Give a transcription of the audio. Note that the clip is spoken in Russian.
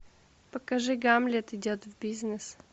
покажи гамлет идет в бизнес